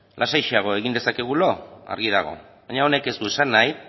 lasaixeago egin dezakegu lo argi dago baina honek ez du esan nahi